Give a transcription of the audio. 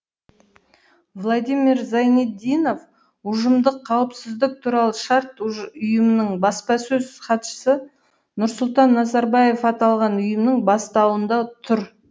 владимир зайнетдинов ұжымдық қауіпсіздік туралы шарт ұйымының баспасөз хатшысы нұрсұлтан назарбаев аталған ұйымның бастауында тұр